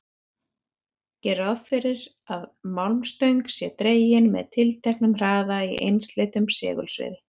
Gerum ráð fyrir að málmstöng sé dregin með tilteknum hraða í einsleitu segulsviði.